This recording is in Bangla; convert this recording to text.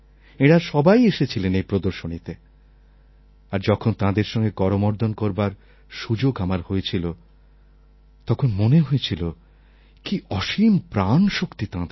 এঁরা সবাই এসেছিলেন এই প্রদর্শনীতে আর যখন তাঁদের সঙ্গে করমর্দণ করবার সুযোগ আমার হয়েছিল তখন মনে হয়েছিল কী অসীম প্রাণশক্তি তাঁদের